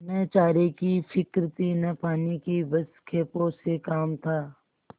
न चारे की फिक्र थी न पानी की बस खेपों से काम था